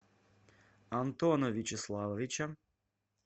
антона вячеславовича